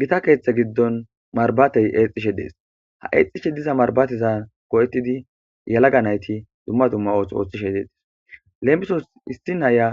Gita keeththe giddon marbatey exxishe dees ha eexxishe diza marbatiza ko'tidi yalaga nayti dumma dumma oothi othishe dexes leemisos issi naya